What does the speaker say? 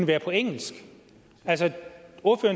være på engelsk